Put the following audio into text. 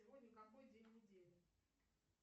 сегодня какой день недели